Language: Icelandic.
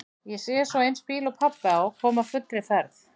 Ég sé svo eins bíl og pabbi á koma á fullri ferð.